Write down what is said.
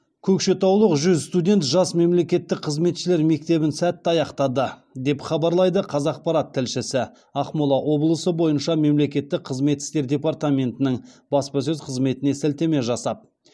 көкшетаулық жүз студент жас мемлекеттік қызметшілер мектебін сәтті аяқтады деп хабарлайды қазақпарат тілшісі ақмола облысы бойынша мемлекеттік қызмет істері департаментінің баспасөз қызметіне сілтеме жасап